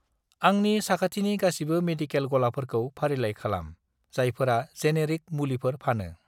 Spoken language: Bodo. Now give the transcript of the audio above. आंनि साखथिनि गासिबो मेडिकेल गलाफोरखौ फारिलाइ खालाम, जायफोरा जेनेरिक मुलिफोर फानो।